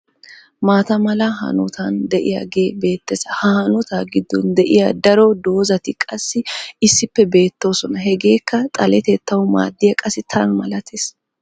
maataa mala hanotan diyagee beetees. ha hanotaa giddon diya daro dozzati qassi issippe beetoosona. hegeekka xaletettawu maadiyaba qassi tan malatees.